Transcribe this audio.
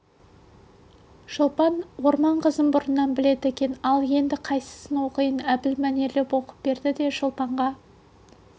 шолпан орман қызын бұрыннан біледі екен ал енді қайсысын оқиық әбіл мәнерлеп оқып берді де шолпанға